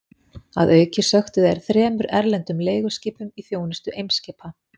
Að auki sökktu þeir þremur erlendum leiguskipum í þjónustu Eimskipa.